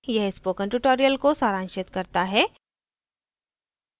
यह spoken tutorial को सारांशित करता है